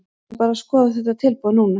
Við erum bara að skoða þetta tilboð núna.